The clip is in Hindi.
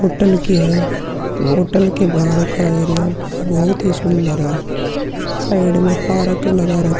होटल की है। होटल के बाहर का एरिया बोहोत ही सुंदर है। साइड में पार्क लगा --